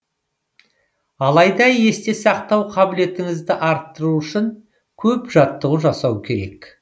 алайда есте сақтау қабілетіңізді арттыру үшін көп жаттығу жасау керек